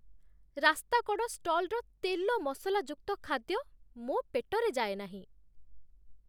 ରାସ୍ତାକଡ଼ ଷ୍ଟଲ୍‌ର ତେଲ ମସଲା ଯୁକ୍ତ ଖାଦ୍ୟ ମୋ ପେଟରେ ଯାଏନାହିଁ।